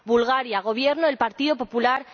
Bulgaria gobierna el Partido Popular.